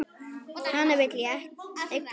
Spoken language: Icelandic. Hana vil ég eiga ein.